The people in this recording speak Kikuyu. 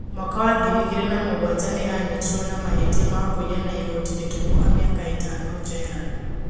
Mwaka wa ngiri igĩrĩ na mũgwaja nĩ anyitirwo na mahĩtio ma kũiya na igoti rĩkĩmuoha mĩaka ĩtano jera.